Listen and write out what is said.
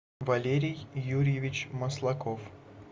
валерий юрьевич маслаков